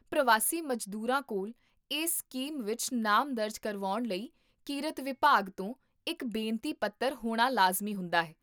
ਪ੍ਰਵਾਸੀ ਮਜ਼ਦੂਰਾਂ ਕੋਲ ਇਸ ਸਕੀਮ ਵਿੱਚ ਨਾਮ ਦਰਜ ਕਰਵਾਉਣ ਲਈ ਕਿਰਤ ਵਿਭਾਗ ਤੋਂ ਇੱਕ ਬੇਨਤੀ ਪੱਤਰ ਹੋਣਾ ਲਾਜ਼ਮੀ ਹੁੰਦਾ ਹੈ